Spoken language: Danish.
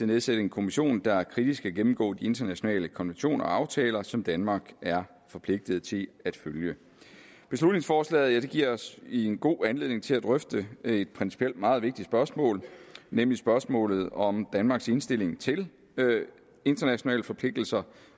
nedsætte en kommission der kritisk skal gennemgå de internationale konventioner og aftaler som danmark er forpligtet til at følge beslutningsforslaget giver os en god anledning til at drøfte et principielt meget vigtigt spørgsmål nemlig spørgsmålet om danmarks indstilling til internationale forpligtelser